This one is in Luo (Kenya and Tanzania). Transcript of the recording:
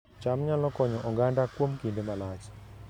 cham nyalo konyo oganda kuom kinde malach